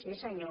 sí senyor